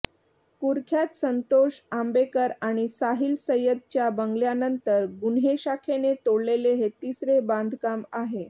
कुख्यात संतोष आंबेकर आणि साहिल सय्यदच्या बंगल्यानंतर गुन्हे शाखेने तोडलेले हे तिसरे बांधकाम आहे